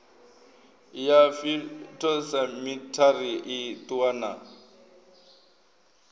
ya phytosamitary i ṱuwa na